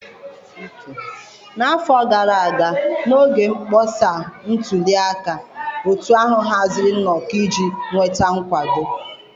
N'afọ gara aga, n'oge mkpọsa ntuli aka, otu ahụ haziri nnọkọ iji nweta nkwado.